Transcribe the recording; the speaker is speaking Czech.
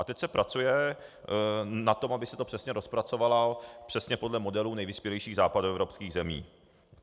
A teď se pracuje na tom, aby se to přesně rozpracovalo, přesně podle modelů nejvyspělejších západoevropských zemí.